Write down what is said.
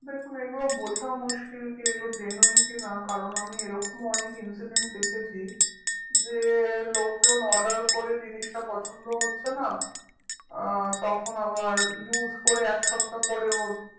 দেখুন এইগুলো বোঝা মুশকিল কি এইগুলো genuine কি না কারণ আমি এরকমও অনেক incident দেখেছি যে লোকজন order করে জিনিসটা পছন্দ হচ্ছে না আহ তখন আবার use করে এক সপ্তহা পরেও